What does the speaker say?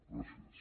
gràcies